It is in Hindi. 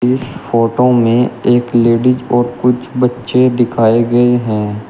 इस फोटो में एक लेडिज और कुछ बच्चे दिखाए गए हैं।